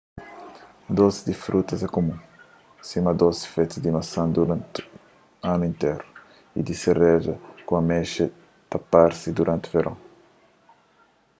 dosi di frutas é kumun sima dosi fetu di masan duranti anu interu y di sereja ku amexa ta parse duranti veron